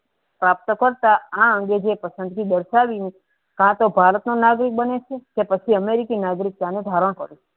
આ અંગે જે પસંદગી દરસાવી કે તો ભારતનો નાગરિક બને છે કે પછી અમેરિકન નાકગરીક ત્યાંનું ધારણ કરે છે.